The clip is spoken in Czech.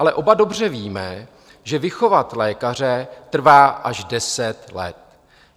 Ale oba dobře víme, že vychovat lékaře trvá až deset let.